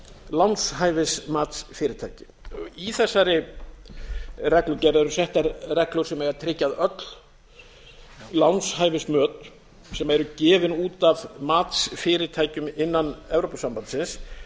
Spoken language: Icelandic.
lánshæfismatsfyrirtæki í þessari reglugerð eru settar reglur sem eiga að tryggja að öll lánshæfismöt sem eru gefin út af matsfyrirtækjum innan evrópusambandsins